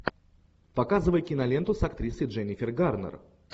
показывай киноленту с актрисой дженифер гарнер